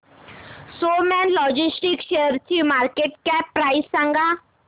Snowman logistics शेअरची market cap price सांगा